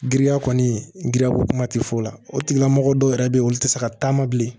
Giriya kɔni giriyako kuma tɛ f'o la o tigilamɔgɔ dɔw yɛrɛ bɛ yen olu tɛ se ka taama bilen